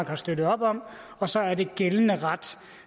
har støttet op om og så er det gældende ret